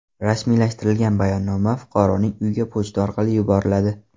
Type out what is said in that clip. Rasmiylashtirilgan bayonnoma fuqaroning uyiga pochta orqali yuboriladi.